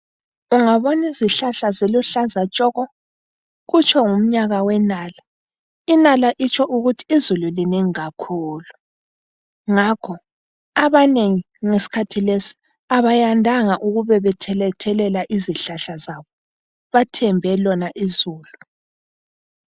Ungabonizihlahla ziluhlaza tshoko, kutsho ngumnyaka wenala. Inala itsho ukuthi izulu linengi kakhulu, ngakho, abanengi ngesikhathi lesi abayandanga ukubebethelethelela izihlahla zabo ,bathembe lona izulu.